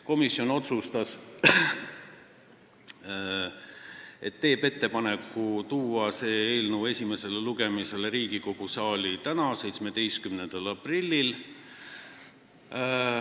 Komisjon otsustas, et teeb ettepaneku tuua see eelnõu esimesele lugemisele Riigikogu saali tänaseks, 17. aprilliks.